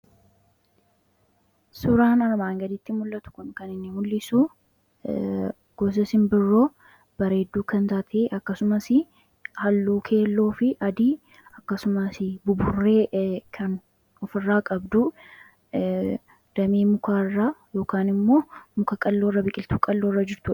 suuraan armaan gaditti mul'atu kan inni mul'isu gosa sinbirroo bareedduu kan taatee akkasumas halluu keelloo fi adii akkasumas buburree kan ofirraa qabduu damee mukaa irraa yookan immoo muka qalloo irra biqiltu qalloo irra jirtudha